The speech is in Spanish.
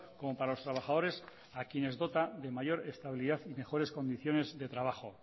como para los trabajadores a quienes dota de mayor estabilidad y mejores condiciones de trabajo